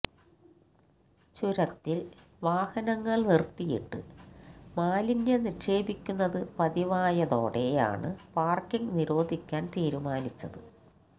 ചുരത്തിൽ വാഹനങ്ങൾ നിർത്തിയിട്ട് മാലിന്യം നിക്ഷേപിക്കുന്നത് പതിവായതോടെയാണ് പാർക്കിങ് നിരോധിക്കാൻ തീരുമാനിച്ചത്